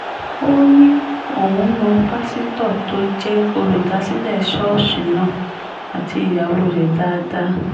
ó ní òun mọ pásítọ̀ tó jẹ́ olùdásílẹ̀ ṣọ́ọ̀ṣì náà àti ìyàwó rẹ̀ dáadáa